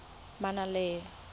manaanepalo